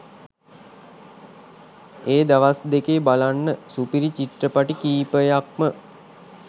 ඒ දවස් දෙකේ බලන්න සුපිරි චිත්‍රපටි කීපයක්ම